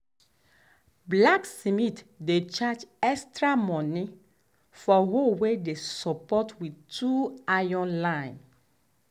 blacksmith dey charge extra money for hoe way dey support with two um iron line.